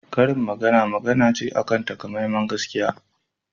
Karin magana magana ce akan takamaiman gaskiya